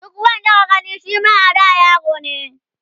duk wanda ka Gane Shima a da yarone